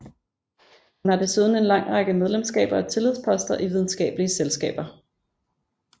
Hun har desuden en lang række medlemskaber og tillidsposter i videnskabelige selskaber